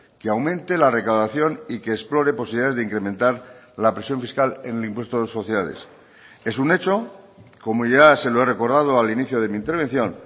que aumente la recaudación y que explore posibilidades de incrementar la presión fiscal en el impuesto de sociedades es un hecho como ya se lo he recordado al inicio de mi intervención